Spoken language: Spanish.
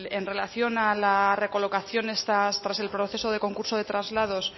en relación a la recolocación tras el proceso de concurso de traslados